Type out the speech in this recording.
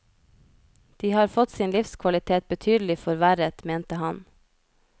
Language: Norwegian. De har fått sin livskvalitet betydelig forverret, mente han.